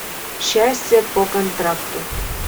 счастье по контракту